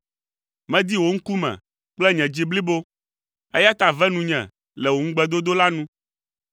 Medi wò ŋkume kple nye dzi blibo, eya ta ve nunye le wò ŋugbedodo la nu.